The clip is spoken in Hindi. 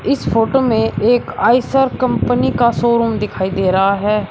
इस फोटो में एक आइसर कंपनी का शोरूम दिखाई दे रहा है।